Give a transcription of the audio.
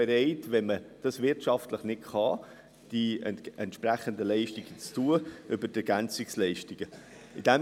Der Kanton ist bereit, über die EL die entsprechenden Leistungen zu übernehmen, wenn man es wirtschaftlich nicht selber kann.